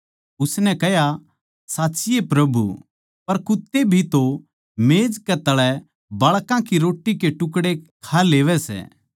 उसनै कह्या साच्ची सै प्रभु पर कुत्ते भी तो मेज कै तळै बाळकां की रोट्टी के टुकड़े खा लेवैं सै